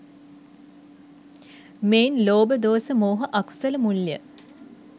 මෙයින් ලෝභ, දෝස, මෝහ අකුසල මුල් ය.